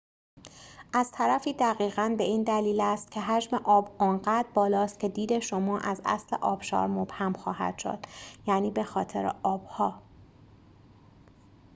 از طرفی دقیقاً به این دلیل است که حجم آب آنقدر بالاست که دید شما از اصل آبشار مبهم خواهد شد-یعنی به‌خاطر آب‌ها